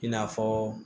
I n'a fɔ